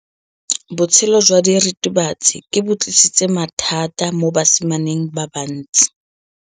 Botshelo jwa diritibatsi ke bo tlisitse mathata mo basimaneng ba bantsi.